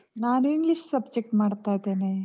ನಾನ್ English subject ಮಾಡ್ತಾ ಇದ್ದೇನೆ.